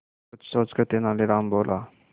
कुछ सोचकर तेनालीराम बोला